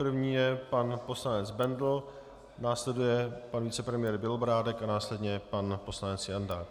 První je pan poslanec Bendl, následuje pan vicepremiér Bělobrádek a následně pan poslanec Jandák.